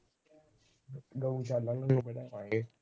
ਗਊਸ਼ਾਲਾ ਨੂੰ ਬਣਾਵਾਂਗੇ।